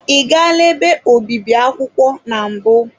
Ị gala ebe obibi akwụkwọ na mbụ?